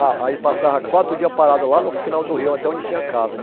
Ah aí passava quatro dias parado lá no final do rio, até onde tinha casa.